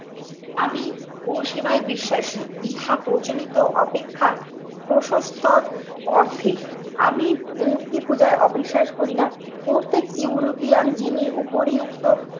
আমি গো সেবায় বিশ্বাসী। ইহা প্রচলিত অপেক্ষা প্রশস্তর অর্ধেক আমি মূর্তি পূজায় অবিশ্বাস করি না। প্রত্যেক ইউরোপিয়ান যিনি উপরিউক্ত